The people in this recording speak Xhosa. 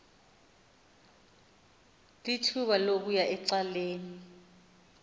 lithuba lokuya ecaleni